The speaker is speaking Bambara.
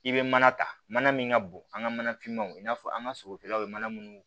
I bɛ mana ta mana min ka bon an ka mana finmaw i n'a fɔ an ka sogofeerelaw bɛ mana munnu